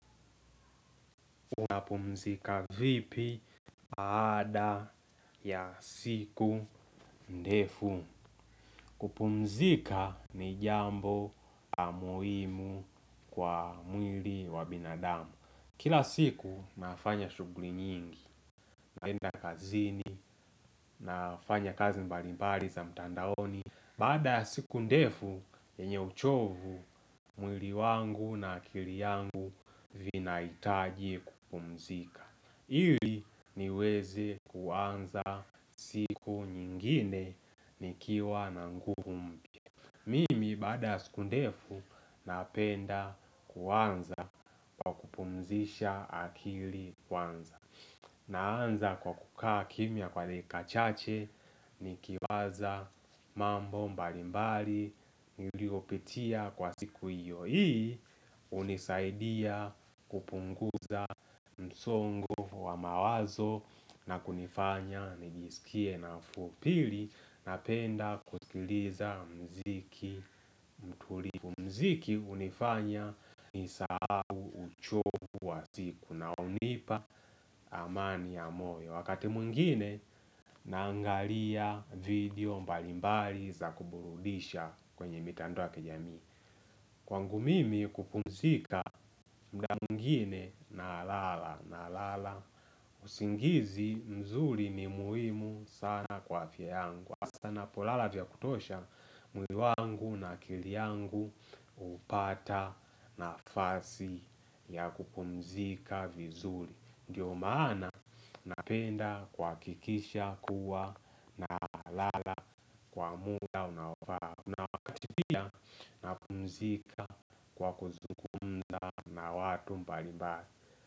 Unapumzika vipi baada ya siku ndefu kupumzika ni jambo la muhimu kwa mwili wa binadamu Kila siku nafanya shughuli nyingi naenda kazini, nafanya kazi mbalimbali za mtandaoni Baada ya siku ndefu, yenye uchovu mwili wangu na akili yangu vinahitaji kupumzika Ili niweze kuanza siku nyingine nikiwa na ngumu Mimi baada siku ndefu napenda kuanza mzisha akili kwanza Naanza kwa kukaa kimya kwa dakika chache nikiwaza mambo mbalimbali niliopitia kwa siku iyo ii hunisaidia kupunguza msongo wa mawazo na kunifanya nijisikie nafuu pili napenda kusikiliza muziki utulivu Muziki hunifanya nisahau uchovu wa siku na hunipa amani ya moyo Wakati mwingine naangalia video mbalimbali za kuburulisha kwenye mitandao ya kijamii Kwangu mimi kupumzika muda mwingine nalala nalala usingizi mzuri ni muimu sana kwa afya yangu. Napolala vya kutosha mwili wangu na akili yangu. Upata nafasi ya kupumzika vizuri, ndio maana napenda kwa kikisha kuwa na lala kwa muda unafaa. Kuna wakati pia. Napumzika kwa kuzungumza na watu mbalimbali.